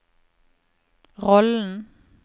rollen